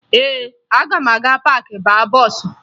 Ee, aga m aga paakị baa bọọsụ